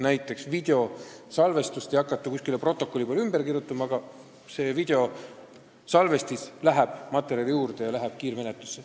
Näiteks videosalvestist ei hakata kuskil protokollis kirjeldama, videosalvestis läheb kiirmenetluse käigus materjali juurde.